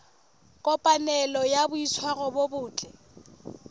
kopanelo ya boitshwaro bo botle